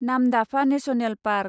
Namdapha national park